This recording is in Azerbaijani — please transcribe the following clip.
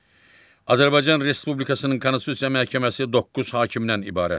Azərbaycan Respublikasının Konstitusiya Məhkəməsi 9 hakimdən ibarətdir.